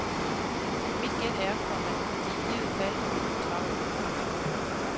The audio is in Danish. Mit gæt er, komma at de i givet fald ville få travlt. punktum